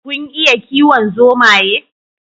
Kun iya kiwon zomaye?